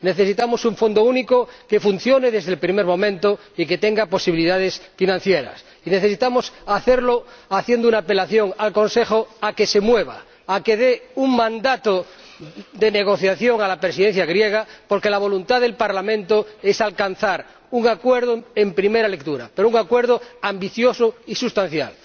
Necesitamos un Fondo Único que funcione desde el primer momento y que tenga posibilidades financieras, y necesitamos hacerlo apelando al Consejo para que se mueva, para que dé un mandato de negociación a la Presidencia griega, porque la voluntad del Parlamento es alcanzar un acuerdo en primera lectura, pero un acuerdo ambicioso y sustancial.